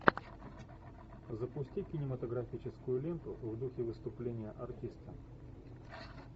запусти кинематографическую ленту в духе выступления артиста